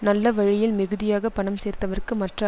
நல்ல வழியில் மிகுதியாகப் பணம் சேர்த்தவர்க்கு மற்ற